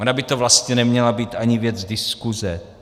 Ona by to vlastně neměla být ani věc diskuze.